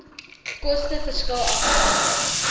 koste verskil afhangende